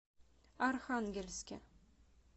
архангельске